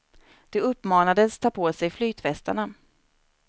De uppmanades ta på sig flytvästarna.